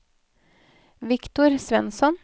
Viktor Svensson